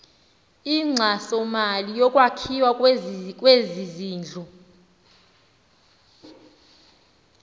inkxasomali yokwakhiwa kwezindlu